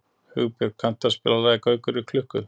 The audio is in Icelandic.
Hugbjörg, kanntu að spila lagið „Gaukur í klukku“?